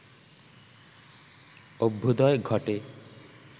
অভ্যূদয় ঘটে